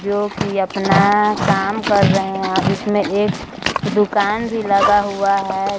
जो की अपना काम रहे है और उसमे एक एक दुकान भी लगा हुआ है।